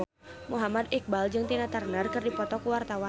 Muhammad Iqbal jeung Tina Turner keur dipoto ku wartawan